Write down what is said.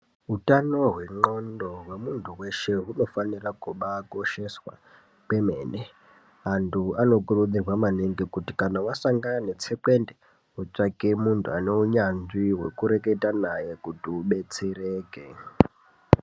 Utano hwendxondo hwemuntu weshe hunofanira kubaakosheswa kwemene antu anokurudzirwa maningi kuti kana wasangane netsekwende wotsvake munhu ane unyanzvi wekureketa naye kuti udetsereke.